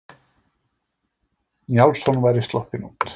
Njálsson væri sloppinn út.